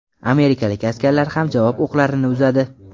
Amerikalik askarlar ham javob o‘qlarini uzadi.